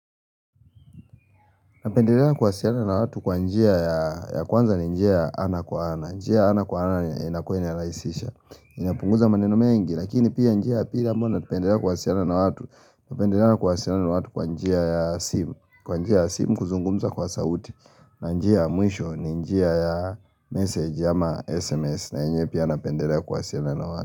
Napendelea kuasiliana na watu kwa njia ya kwanza ni njia ya ana kwa ana. Njia ya ana kwa ana inakuwa ina rahisisha. Inapunguza maneno mengi. Lakini pia njia ya pili ambayo napendelea kuwasiliana na watu. Napendelea kuwasiliana na watu kwa njia ya simu. Kwa njia ya simu kuzungumza kwa sauti. Na njia ya mwisho ni njia ya message ama SMS. Na yenyewe pia napendelea kuwasiliana na watu.